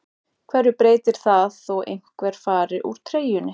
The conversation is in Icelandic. Hverju breytir það þó einhver fari úr treyjunni?